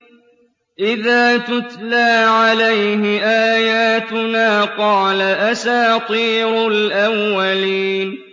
إِذَا تُتْلَىٰ عَلَيْهِ آيَاتُنَا قَالَ أَسَاطِيرُ الْأَوَّلِينَ